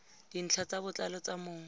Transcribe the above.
dintlha ka botlalo tsa mong